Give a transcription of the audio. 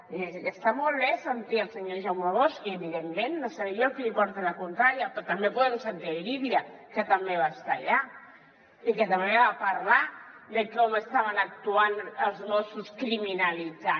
vull dir que està molt bé sentir el senyor jaume bosch i evidentment no seré jo qui li porti la contrària però també podem sentir irídia que també va estar allà i que també va parlar de com estaven actuant els mossos criminalitzant